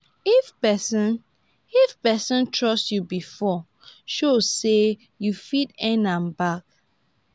if pesin if pesin trust yu bifor show say yu fit earn am back.